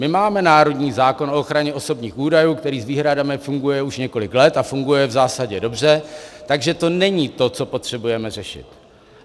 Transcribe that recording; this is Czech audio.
My máme národní zákon o ochraně osobních údajů, který s výhradami funguje už několik let a funguje v zásadě dobře, takže to není to, co potřebujeme řešit.